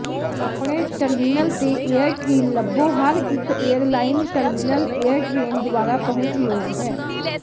ਆਪਣੇ ਟਰਮੀਨਲ ਤੇ ਏਅਰਟ੍ਰੀਨ ਲੱਭੋ ਹਰ ਇੱਕ ਏਅਰਲਾਈਨ ਟਰਮੀਨਲ ਏਅਰ ਟ੍ਰੇਨ ਦੁਆਰਾ ਪਹੁੰਚਯੋਗ ਹੈ